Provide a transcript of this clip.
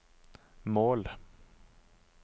mål